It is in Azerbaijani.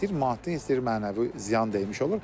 İstəyir maddi, istəyir mənəvi ziyan dəyirmiş olur.